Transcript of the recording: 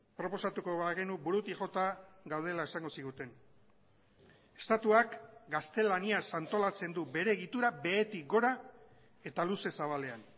proposatuko bagenu burutik jota gaudela esango ziguten estatuak gaztelaniaz antolatzen du bere egitura behetik gora eta luze zabalean